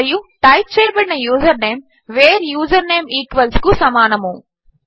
మరియు టైప్ చేయబడిన username where username equals కు సమానము